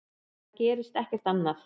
Það gerist ekkert annað.